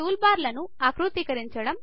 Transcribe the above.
టూల్బార్ల ను ఆకృతీకరించడం